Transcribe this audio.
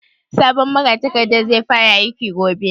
Sabon magatakardan zai fara aiki gobe?